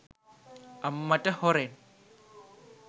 අම්මට හොරෙන්